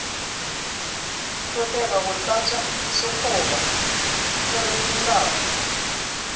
hlokega go tlatša sekgoba theramelao